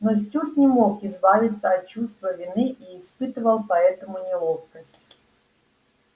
но стюарт не мог избавиться от чувства вины и испытывал поэтому неловкость